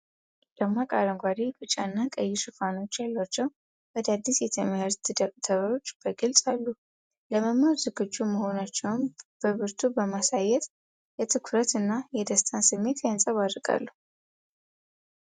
ደማቅ አረንጓዴ፣ ቢጫና ቀይ ሽፋኖች ያሏቸው አዳዲስ የትምህርት ደብተሮች በግልጽ አሉ። ለመማር ዝግጁ መሆናቸውን በብርቱ በማሳየት የትኩረት እና የደስታን ስሜት ያንጸባርቃሉ።